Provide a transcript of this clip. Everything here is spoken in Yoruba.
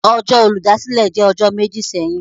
Ọjọ Oludasile jẹ ọjọ meji sẹhin.